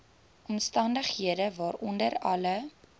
omstandighede waaronder alle